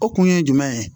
O kun ye jumɛn ye